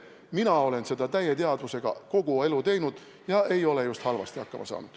Mina olen seda täie teadvusega kogu elu teinud ja ei ole just halvasti hakkama saanud.